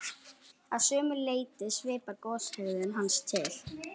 Að sumu leyti svipar goshegðun hans til